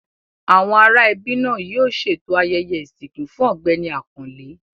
Àwọn ará ẹbí náà yóò ṣètò ayẹyẹ ìsìnkú fún Ọ̀gbẹ́ni Àkànlé.